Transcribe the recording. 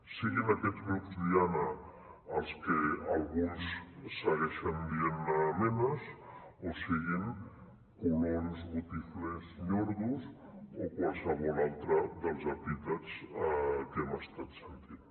siguin aquests grups diana els que alguns segueixen dient ne menas o siguin colons botiflers ñordos o qualsevol altre dels epítets que hem estat sentint